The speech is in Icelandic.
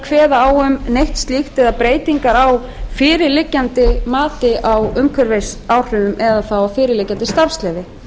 kveða á um neitt slíkt eða breytingar á fyrirliggjandi mati á umhverfisáhrifum eða þá fyrirliggjandi starfsleyfi